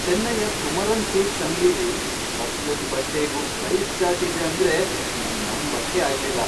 ಚೆನ್ನೈಯ Kumaran silks ಅಂಗ್ಡಿಲಿ ಪ್ರತಿಯೊಂದ್ ಬಟ್ಟೆಗೂ ಸೈಜ಼್ ಚಾರ್ಟ್ ಇದೆ ಅಂದ್ರೆ ನಂಗ್ ನಂಬಕ್ಕೇ ಆಗ್ಲಿಲ್ಲ.